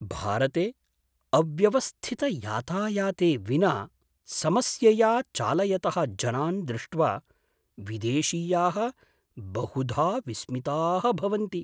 भारते अव्यवस्थितयातायाते विना समस्यया चालयतः जनान् दृष्ट्वा विदेशीयाः बहुधा विस्मिताः भवन्ति।